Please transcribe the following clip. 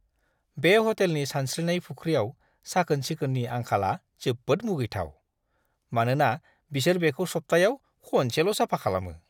बे ह'टेलनि सानस्रिनाय फुख्रियाव साखोन-सिखोननि आंखालआ जोबोद मुगैथाव, मानोना बिसोर बेखौ सप्तायाव खनसेल' साफा खालामो!